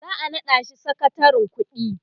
za'a naɗa shi sakatarin ƙuɗi